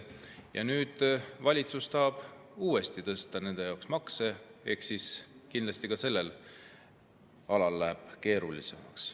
Ja nüüd valitsus tahab uuesti nende jaoks makse tõsta ehk kindlasti ka sellel alal läheb keerulisemaks.